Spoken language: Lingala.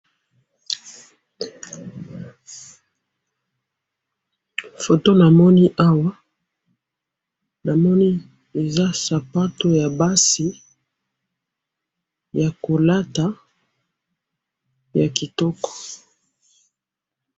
photo namoni awa namoni eza sapatou ya basi ya kolata ya kitoko